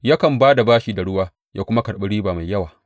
Yakan ba da bashi da ruwa ya kuma karɓi riba mai yawa.